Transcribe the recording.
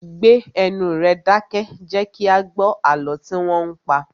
Gbé ẹnu rẹ dákẹ́! Jẹ kí a gbó àlọ́ tí wọn ń pa!